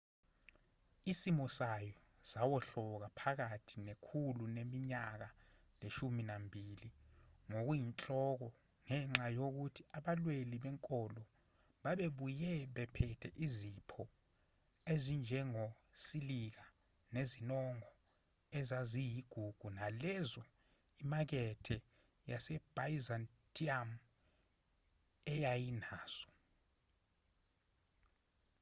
isimo sayo sawohloka phakathi nekhulu leminyaka leshumi nambili ngokuyinhloko ngenxa yokuthi abalweli benkolo babebuye bephethe izipho ezinjengosilika nezinongo ezaziyigugu kunalezo imakethe yasebyzantium eyayinazo